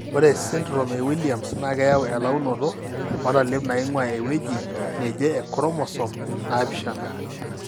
Ore esindirom eWilliams naa keyau elaunoto oontalip naing'uaa ewueji neje enchromosome naapishana.